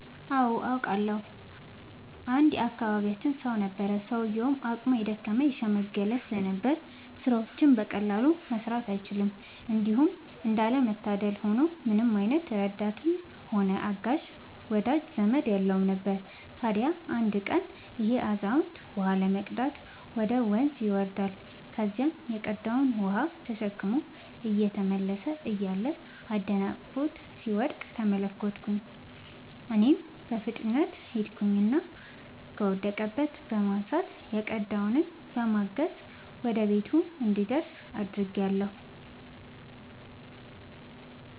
አዎ አውቃለሁ። አንድ የአካባቢያችን ሰው ነበረ፤ ሰውዬውም አቅሙ የደከመ የሽምገለ ስለነበር ስራዎችን በቀላሉ መስራት አይችልም። እንዲሁም እንዳለ መታደል ሆኖ ምንም አይነት ረዳትም ሆነ አጋዥ ወዳጅ ዘመድም የለውም ነበር። ታዲያ አንድ ቀን ይሄ አዛውንት ውሃ ለመቅዳት ወደ ወንዝ ይወርዳል። ከዚያም የቀዳውን ውሃ ተሸክሞ እየተመለሰ እያለ አደናቅፎት ሲወድቅ ተመለከትኩኝ እኔም በፍጥነት ሄድኩኝና ከወደቀበት በማንሳት የቀዳውንም በማገዝ ወደ ቤቱ እንዲደርስ አድርጌአለሁ።